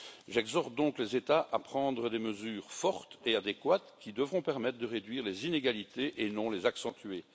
J'exhorte donc les États à prendre des mesures fortes et adéquates qui devront permettent de réduire les inégalités et non les accentuer.